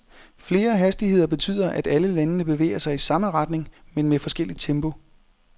Flere hastigheder betyder, at alle landene bevæger sig i samme retning men med forskelligt tempo.